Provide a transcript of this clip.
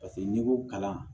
Paseke n'i ko kalan